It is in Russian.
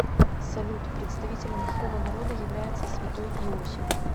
салют представителем какого народа является святой иосиф